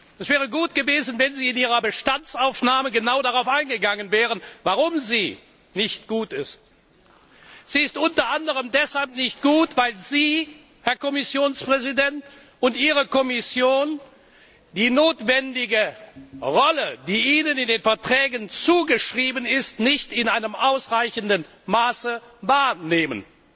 Es wäre gut gewesen, wenn Sie in Ihrer Bestandsaufnahme genau darauf eingegangen wären, warum sie nicht gut ist. Sie ist unter anderem deshalb nicht gut, weil Sie, Herr Kommissionspräsident, und Ihre Kommission die notwendige Rolle, die Ihnen die Verträge zuschreiben, nicht in ausreichendem Maße wahrnehmen.